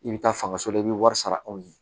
I bɛ taa fanga so la i bɛ wari sara anw ye